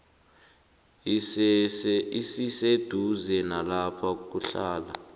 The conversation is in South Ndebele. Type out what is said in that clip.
esiseduze nalapho kuhlala